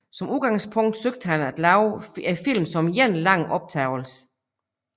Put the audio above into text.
Som udgangspunkt søgte han at lave filmen som én lang optagelse